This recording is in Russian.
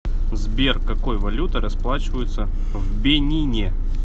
сбер какой валютой расплачиваются в бенине